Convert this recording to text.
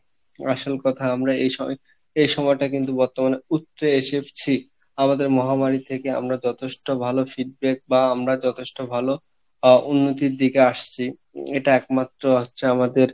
আসল কথা আমরা এই সময় এই সময় টা কিন্তু বর্তমানে উতরে এসেছি আমাদের মহামারী থেকে আমরা যথেষ্ঠ ভালো বা আমরা যথেষ্ঠ ভালো আহ উন্নতির দিকে আসছি এটা একমাত্র হচ্ছে আমাদের